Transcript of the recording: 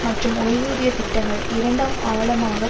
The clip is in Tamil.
மற்றும் ஓய்வூதிய திட்டங்கள் இரண்டாம் ஆழமாக